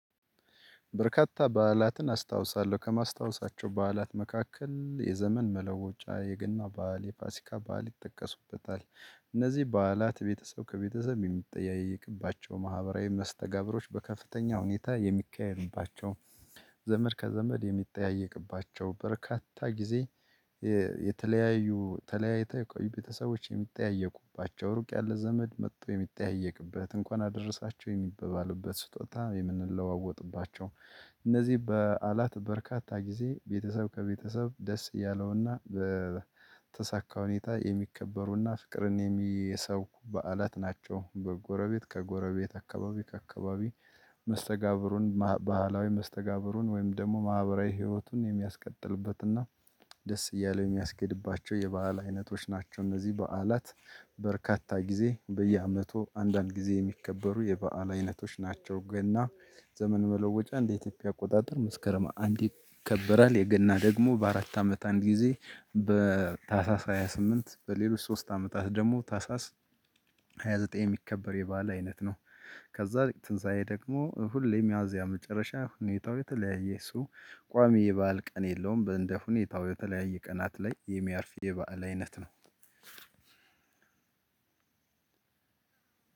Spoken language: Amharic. በርካታ በዓላትን አስታውሳለው ከማስታወሳቸው በዓላት መካከል የዘመን መለወጫ የገና በዓል የፋሲካ ባል ይጠቀሱበታል። እነዚህ በዓላት ቤተሰብ ከቤተሰብ የሚጠያየቅባቸው ማህበራዊ መስተጋብሮች በከፍተኛ ሁኔታ የሚካሄዱባቸው ዘመድ ከዘመድ የሚጠያየቅባቸው በርካታ ጊዜ የተለያዩ ተለያይተህ ቤተሰቦች የሚጠያየቁባቸው ሩቅ ያለ ዘመድ መጥቶ የሚታየቅበት እንኳን አደረሳቸው የሚበባሉበት ስጦታ የምንለዋወጥባቸው እነዚህ በዓላት በርካታ ጊዜ ቤተሰብ ከቤተሰብ ደስ እያለውና በተሳካ ሁኔታ የሚከበሩና ፍቅርን የሰው በዓላት ናቸው በጎረቤት ከጎረቤት አካባቢ ከአካባቢ መስተጋብሩን ባህላዊ መስተጋብሩን ወይም ደግሞ ማህበራዊ ህይወቱን የሚያስቀጥልበትና እና ደስ እያለ የሚያስኬድባቸው የበአል አይነቶች ናቸው እነዚህ በዓላት በርካታ ጊዜ በየአመቱ አንዳንድ ጊዜ የሚከበሩ የበአል አይነቶች ናቸው። ገና ዘመን መለወጫ እንደ ኢትዮጵያ አቆጣጠር መስከረም አንድ ይከበራል የገና ደግሞ በአራት አመት አንድ ጊዜ በታህሳስ ሃያ ስምንት በሌሎች ሶስት አመታት ደግሞ ታህሳስ ሃያ ዘጠኝ የሚከበር የባህል አይነት ነው። ከዛ ትንሳኤ ደግሞ ሁሌም ሚያዚያ ሚጨረሻ ሁኔታው የተለያየ ሰው ቋሚ የባዓል ቀን የለውም በእንደ ሁኔታው የተለያየ ቀናት ላይ የሚያርፍ የበአል አይነትት ነው።